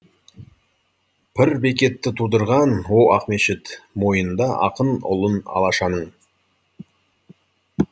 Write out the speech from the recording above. пір бекетті тудырған о ақмешіт мойында ақын ұлын алашаның